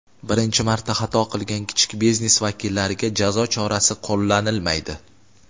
Birinchi marta xato qilgan kichik biznes vakillariga jazo chorasi qo‘llanilmaydi.